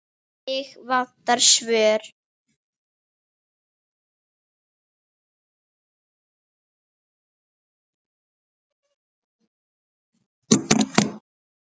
Mig vantar svör.